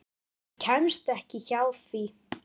Maður kemst ekki hjá því.